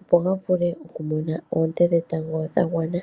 opo ga vule okumona oonte dhetango dha gwana.